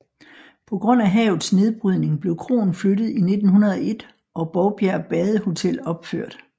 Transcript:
På grund af havets nedbrydning blev kroen flyttet i 1901 og Bovbjerg Badehotel opført